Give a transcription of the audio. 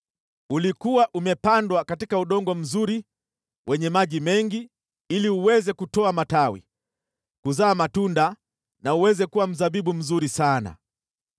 Ulikuwa umepandwa katika udongo mzuri wenye maji mengi ili uweze kutoa matawi, kuzaa matunda na uweze kuwa mzabibu mzuri sana.’